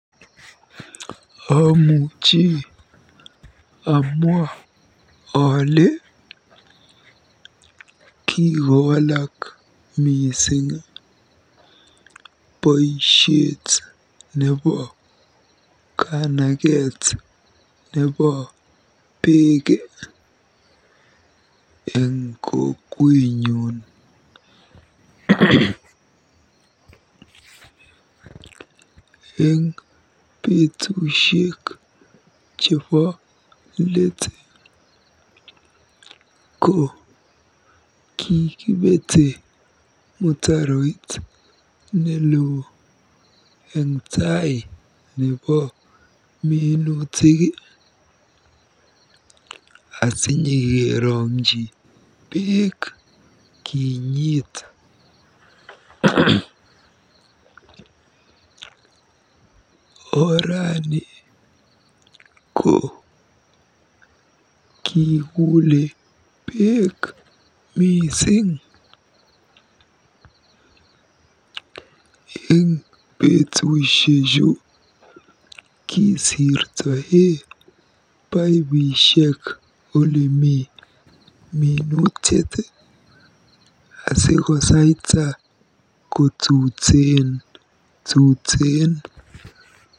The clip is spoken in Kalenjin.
Amuchi amwa ale kikowalak mising boisiet nebo kanaket nebo beek eng kokwenyun. Eng betusiek chebo leet ko kikibete mutaroit neloo eng taii nebo minutik asinyikerongji beek kinyiit. Orani ko kikuule beek mising. Eng betusiechu kisirtoe paipishek olemi minutik asikosaita kotuteen tuteen.